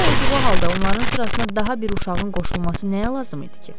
Belə olduğu halda onların sırasına daha bir uşağın qoşulması nəyə lazım idi ki?